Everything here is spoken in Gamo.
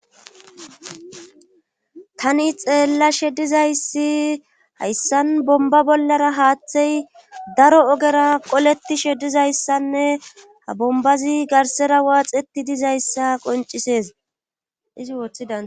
Tani xeella shedizayssi hayssan bomba bollara haaththey daro ogera qoleti shedizayssanne ha bombazi garsera waaxeti dizayssa qoncisees izi wooththida.